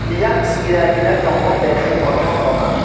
yang kinar kinar tongo building kotoma kotoma.